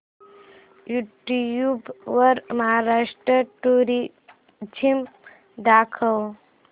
YouTube वर Maharashtra tourism दाखव